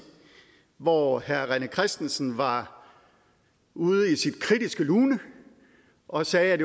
hvor herre rené christensen var ude i sit kritiske lune og sagde at